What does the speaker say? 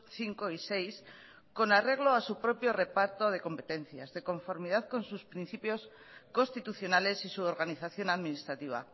cinco y seis con arreglo a su propio reparto de competencias de conformidad con sus principios constitucionales y su organización administrativa